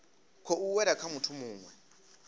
khou wela kha muthu muwe